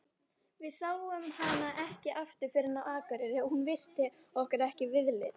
Við sáum hana ekki aftur fyrr en á Akureyri og hún virti okkur ekki viðlits.